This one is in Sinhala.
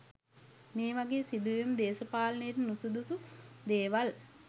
මේ වගේ සිදුවීම් දේශපාලනයට නුසුදුසු දේවල්.